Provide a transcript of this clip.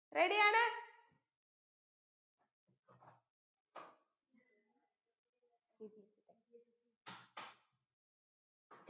ready യാണ്